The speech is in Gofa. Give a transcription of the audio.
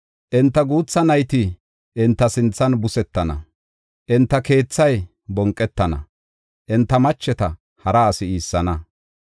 Enta guutha nayti enta sinthan busetana; enta keethay bonqetana; enta macheta hara asi iissana.